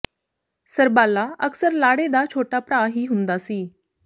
ਸਰਬਾਲਾ ਅਕਸਰ ਲਾੜੇ ਦਾ ਛੋਟਾ ਭਰਾ ਹੀ ਹੁੰਦਾ ਸੀ